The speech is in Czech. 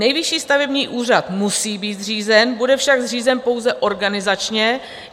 Nejvyšší stavební úřad musí být zřízen, bude však zřízen pouze organizačně.